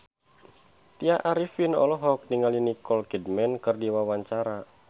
Tya Arifin olohok ningali Nicole Kidman keur diwawancara